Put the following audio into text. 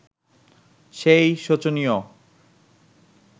সেই শোচনীয়